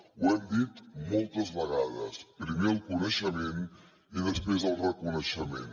ho hem dit moltes vegades primer el coneixement i després el reconeixement